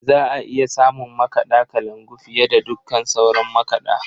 Za a iya samun makaɗa kalangu fiye da dukkan sauran makaɗa.